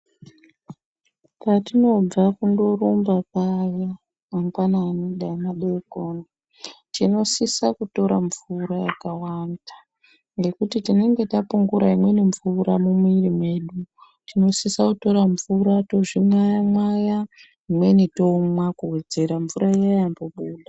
Patinobva kundorumba paya mangwanani dai madekoni. Tinosisa kutora mvura yakawanda ngekuti tinonga tapungura imweni bvura mumwiri mwedu. Tinosisa kutora mvura tozvimwaya-mwaya imweni tomwa kuvedzera mvura iya yambobuda.